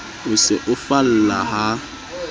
o se o falla ha